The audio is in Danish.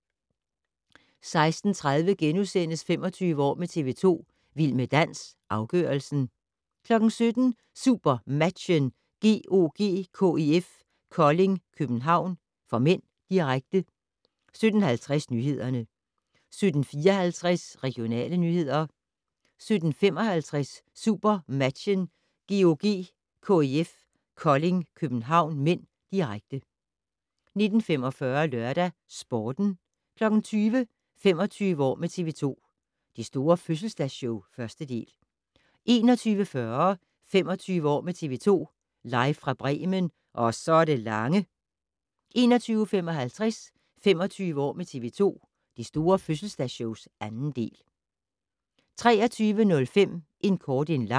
16:30: 25 år med TV 2: Vild med dans - afgørelsen * 17:00: SuperMatchen: GOG-KIF Kolding København (m), direkte 17:50: Nyhederne 17:54: Regionale nyheder 17:55: SuperMatchen: GOG-KIF Kolding København (m), direkte 19:45: LørdagsSporten 20:00: 25 år med TV 2: Det store fødselsdagsshow - 1. del 21:40: 25 år med TV 2: Live fra Bremen - ...Og så det lange 21:55: 25 år med TV 2: Det store fødselsdagsshow - 2. del 23:05: En kort en lang